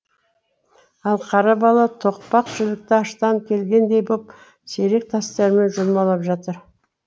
ал қара бала тоқпақ жілікті аштан келгендей боп сирек тастерімен жұлмалап жатыр